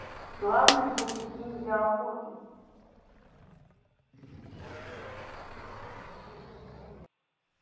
славный будет день для охоты